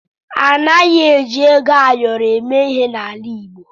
A naghịzi eji ego ayọrọ eme ihe n’ala Igbo.